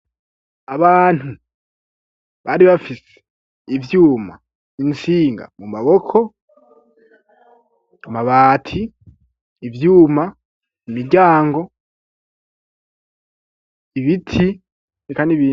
Abantu bari bafise ivyuma intsinga mu maboko amabati ivyuma i miryango ibiti ikaniia.